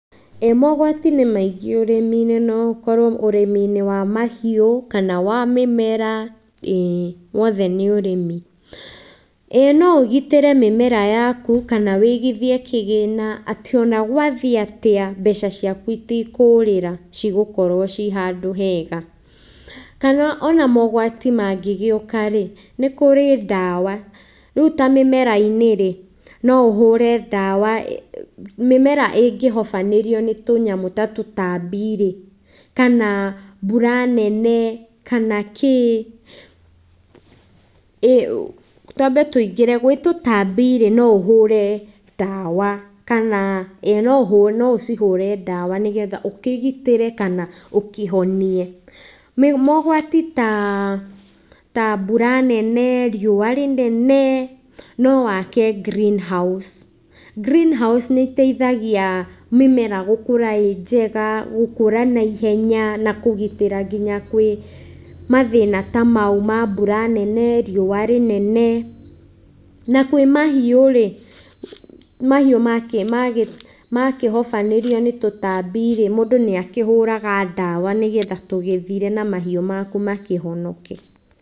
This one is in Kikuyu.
Ĩĩ mogwati nĩ maingĩ ũrĩmi-inĩ, no ũkorwo ũrĩmi-inĩ wa mahiũ kana wa mĩmera, ĩĩ, wothe nĩ ũrĩmi. ĩĩ no ũgitĩre mĩmera yaku kana ũigithie kĩgĩna atĩ ona gwathiĩ atĩa, mbeca ciaku itikũũrĩra cigũkorwo ci handũ hega. Kana ona mogwati mangĩgĩũka rĩ, nĩ kũrĩ ndawa, rĩu ta mĩmera-inĩ rĩ, no ũhũre ndawa, mĩmera ĩngĩhobanĩrio nĩ tũnyamũ ta tũtambi rĩ kana mbura nene, kana kĩ, twambe tũingĩre gwĩ tũtambi rĩ, no ũhũre ndawa kana, ĩĩ no ũcihũre ndawa nĩgetha ũkĩgitĩre kana ũkĩhonie. Mogwati ta mbura nene, riũa rĩnene nowake greenhouse. Greenhouse nĩ ĩteithagia mĩmera gũkũra ĩ njega, gũkũra naihenya na kũgitĩra nginya kwĩ mathĩna ta mau ma mbura nene, riũa rĩnene. Na kwĩ mahiũ rĩ, mahiũ makĩhobanĩrio nĩ tũtambi rĩ, mũndũ nĩ akĩhũraga ndawa nĩgetha tũgĩthire na mahiũ maku makĩhonoke.